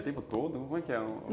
O tempo todo? Como é que é?